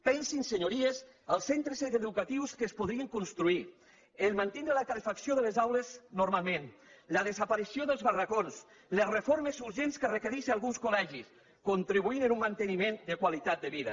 pensin senyories els centres educatius que es podrien construir el fet de mantindre la calefacció de les aules normalment la desaparició dels barracons les reformes urgents que requereixen alguns col·legis contribuir en un manteniment de qualitat de vida